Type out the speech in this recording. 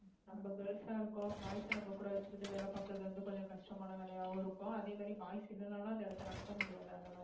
நம்ம girls ஆ இருக்கோம் boys அ நம்ம கூட வச்சிக்கிட்டு வேலை பார்க்கிறது வந்து கொஞ்சம் கஷ்டமான வேலையாவும் இருக்கும் அதே மாதிரி boys இல்லைன்னாலும் அந்த இடத்தை நடத்த முடியாது அந்த மாதிரி